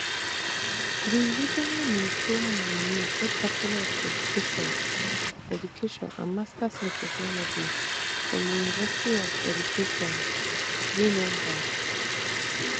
di regional ministerial nominee get bachelor of education education and masters in technology from di university of education winneba